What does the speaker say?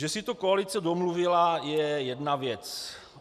Že si to koalice domluvila je jedna věc.